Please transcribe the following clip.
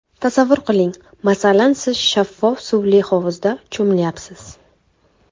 Tasavvur qiling, masalan siz shaffof suvli hovuzda cho‘milayapsiz.